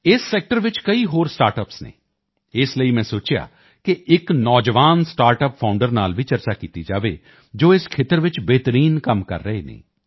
ਇਸ ਸੈਕਟਰ ਚ ਕਈ ਹੋਰ ਸਟਾਰਟਅੱਪਸ ਹਨ ਇਸ ਲਈ ਮੈਂ ਸੋਚਿਆ ਕਿ ਇੱਕ ਯੁਵਾ ਸਟਾਰਟਅੱਪ ਫਾਊਂਡਰ ਨਾਲ ਵੀ ਚਰਚਾ ਕੀਤੀ ਜਾਵੇ ਜੋ ਇਸ ਖੇਤਰ ਚ ਬਿਹਤਰੀਨ ਕੰਮ ਕਰ ਰਹੇ ਹਨ